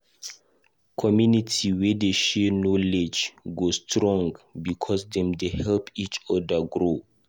Community wey dey share knowledge go strong because dem dey help each other grow.